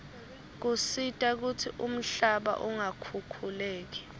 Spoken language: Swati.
tisita kutsi umhlaba ungakhukhuleki